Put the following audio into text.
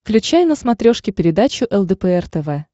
включай на смотрешке передачу лдпр тв